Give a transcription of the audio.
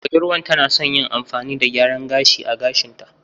Budurwar tana son yin amfani da gyaran gashi a gashinta.